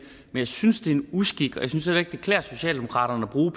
jeg synes at det er en uskik og jeg synes heller ikke at det klæder socialdemokratiet